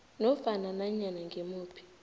nofana nanyana ngimuphi